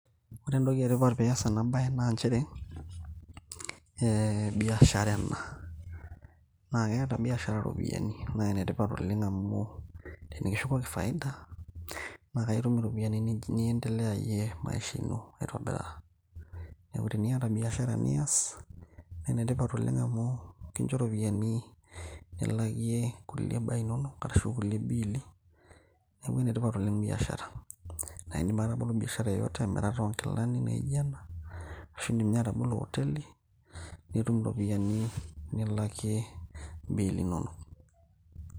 Ore entoki etipat piyas ena baye naa nchere eh, biashara ena naa keeta biashara iropiyiani naa enetipat oleng amu tenikishukoki faida na kaitum iropiyiani niendeleyayie maisha ino aitobiraa neku teniata biashara niyas naa enetipat oleng amu kincho iropiyiani nilakie kulie baa inonok arashu kulie biili neku enetipat oleng biashara naindim ake atabolo biashara yeyote naijo emirata onkilani naijo ena ashu indim ninye atabolo oteli nitum iropiyiani nilakie imbiili inonok.